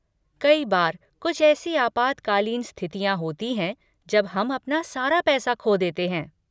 कई बार कुछ ऐसी आपातकालीन स्थितियाँ होती हैं जब हम अपना सारा पैसा खो देते हैं।